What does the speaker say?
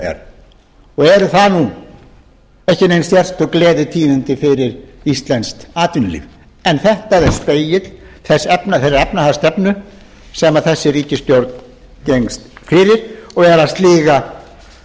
er og eru það ekki nein sérstök gleðitíðindi fyrir íslenskt atvinnulíf en þetta er spegill þeirrar efnahagsstefnu sem þessi ríkisstjórn gengst fyrir og er að sliga